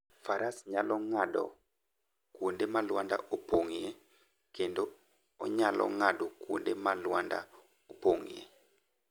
Faras nyalo ng'ado kuonde ma lwanda opong'ie kendo onyalo ng'ado kuonde ma lwanda opong'ie.